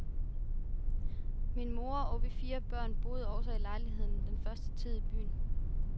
Min mor og vi fire børn boede også i lejligheden den første tid i byen.